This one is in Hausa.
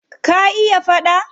Ka iya faɗa?